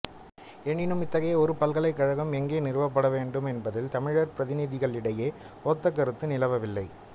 எனினும் இத்தகைய ஒரு பல்கலைக்கழகம் எங்கே நிறுவப்பட வேண்டுமென்பதில் தமிழர் பிரதிநிதிகளிடையே ஒத்தகருத்து நிலவவில்லை